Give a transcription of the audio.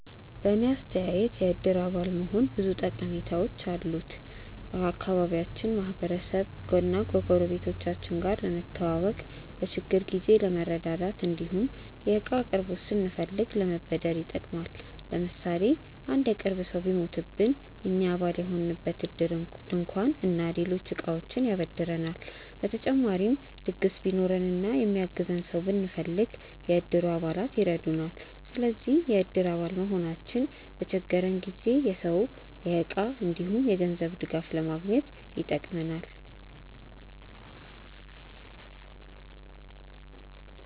በእኔ አስተያየት የእድር አባል መሆን ብዙ ጠቀሜታዎች አሉት። ከአካባቢያችን ማህበረሰብ እና ጎረቤቶቻችን ጋር ለመተዋወቅ፣ በችግር ጊዜ ለመረዳዳት እንዲሁም የእቃ አቅርቦት ስንፈልግ ለመበደር ይጠቅማል። ለምሳሌ አንድ የቅርብ ሰው ቢሞትብን እኛ አባል የሆንበት እድር ድንኳን እና ሌሎች እቃዎችን ያበድረናል። በተጨማሪም ድግስ ቢኖረን እና የሚያግዘን ሰው ብንፈልግ፣ የእድሩ አባላት ይረዱናል። ስለዚህ የእድር አባል መሆናችን በተቸገረን ጊዜ የሰው፣ የእቃ እንዲሁም የገንዘብ ድጋፍ ለማግኘት ይጠቅማል።